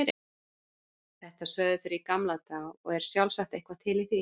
Þetta sögðu þeir í gamla daga og er sjálfsagt eitthvað til í því.